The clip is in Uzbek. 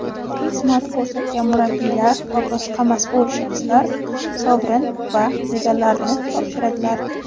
xizmat ko‘rsatgan murabbiylar va boshqa mas’ul shaxslar sovrin va medallarni topshiradilar.